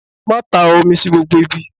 Má ta omi sí gbogbo ibi.!